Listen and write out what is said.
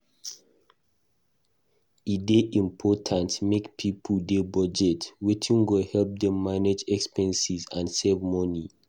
E dey important make pipo dey budget wetin go help dem manage expenses and save money.